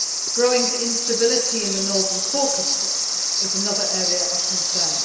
Growing instability in the North Caucasus is another area of concern.